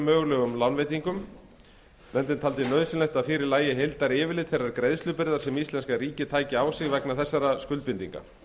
mögulegum lánveitingum nefndin taldi nauðsynlegt að fyrir lægi heildaryfirlit þeirrar greiðslubyrðar sem íslenska ríkið tæki á sig vegna þessara skuldbindinga